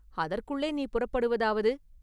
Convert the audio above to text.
அதற்குள்ளே நீ புறப்படுவதாவது?